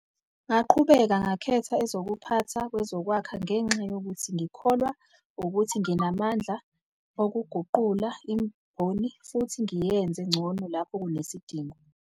"Ngaqhubeka ngakhetha ezokuphatha kwezokwakha ngenxa yokuthi ngikholwa ukuthi nginamandla okuguqula imboni futhi ngiyenze ngcono lapho kunesidingo."